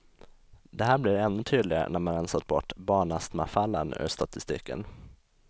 Det här blir ännu tydligare när man rensat bort barnastmafallen ur statistiken.